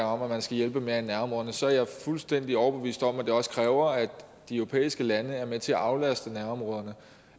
om at man skal hjælpe mere i nærområderne så er jeg fuldstændig overbevist om at det også kræver at de europæiske lande er med til at aflaste nærområderne